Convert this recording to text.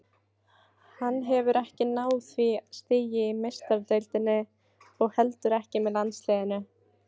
Hann hefur ekki náð því stigi í Meistaradeildinni og heldur ekki með landsliðinu.